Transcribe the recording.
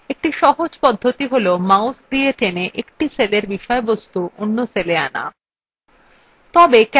একটি সহজ পদ্ধতি cellmouse দিয়ে টেনে এক সেলের বিষয়বস্তু অন্য cell আনা